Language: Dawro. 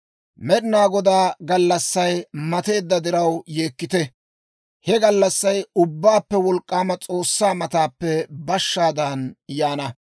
Med'inaa Godaa gallassay mateedda diraw yeekkite! He gallassay Ubbaappe Wolk'k'aama S'oossaa mataappe bashshaadan yaana.